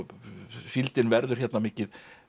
síldin verður hérna mikið